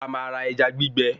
A máa ra ẹja gbígbẹ